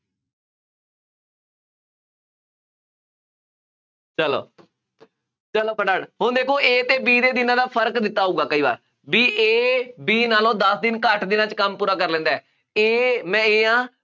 ਚੱਲੋ, ਚੱਲੋ ਫਟਾਫਟ, ਹੁਣ ਦੇਖੋ A ਅਤੇ B ਦੇ ਦਿਨਾਂ ਦਾ ਫਰਕ ਦਿੱਤਾ ਹੋਊਗਾ, ਕਈ ਵਾਰ, ਬਈ A B ਨਾਲੋਂ ਦਸ ਦਿਨ ਘੱਟ ਦਿਨਾਂ ਚ ਕੰਮ ਪੂਰਾ ਕਰ ਲੈਂਦਾ ਹੈ, A ਮੈਂ A ਹਾਂ।